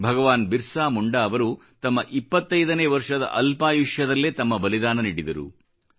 ಭಗವಾನ್ ಬಿರ್ಸಾ ಮುಂಡಾ ಅವರು ತಮ್ಮ 25 ನೇ ವರ್ಷದ ಅಲ್ಪಾಯುಷ್ಯದಲ್ಲೇ ತಮ್ಮ ಬಲಿದಾನ ನೀಡಿದರು